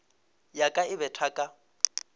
ya ka e betha ka